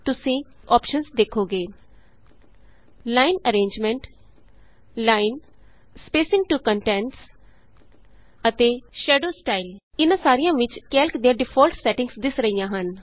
ਤੁਸੀਂ ਕਈ ਅੋਪਸ਼ਨਸ ਦੇਖੋਗੇ ਜਿਵੇਂ ਕਿ line arrangement line spacing to contents ਅਤੇ ਸ਼ੈਡੋ ਸਟਾਈਲ ਇਹਨਾਂ ਸਾਰਿਆਂ ਵਿਚ ਕੈਲਕ ਦੀਆਂ ਡੀਫਾਲਟ ਸੈਟਿੰਗਸ ਦਿੱਸ ਰਹੀਆਂ ਹਨ